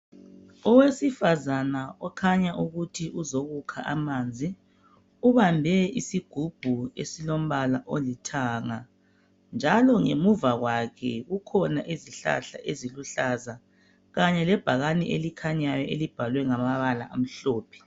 Owesifazana okhanya ukuthi uzokukha amanzi ubambe isigubhu esilombala olithanga njalo ngemuva kwakhe kukhona izihlahla eziluhlaza kanye lebhakane elikhanyayo elibhalwe ngamabala amhlophe